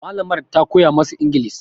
Malamar ta koya masu ingilis